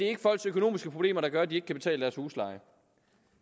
er folks økonomiske problemer der gør at de ikke kan betale deres husleje